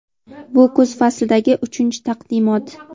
Bu kuz faslidagi uchinchi taqdimot.